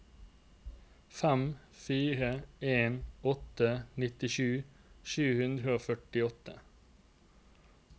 fem fire en åtte nittisju sju hundre og førtiåtte